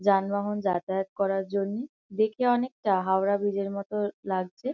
যানবাহন যাতায়াত করার জন্যে। দেখে অনেকটা হাওড়া ব্রীজ -এর মতো লাগছে।